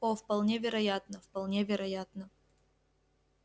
о вполне вероятно вполне вероятно